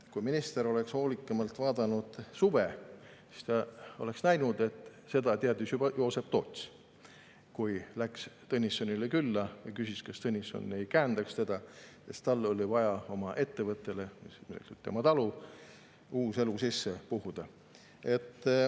" Kui minister oleks hoolikamalt vaadanud filmi "Suvi", siis ta oleks näinud, et seda teadis juba Joosep Toots, kui läks Tõnissonile külla ja küsis, kas Tõnisson ei käendaks teda, sest tal oli vaja oma ettevõttele, mis oli tema talu, uus elu sisse puhuda.